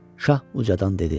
Şah ucadan dedi: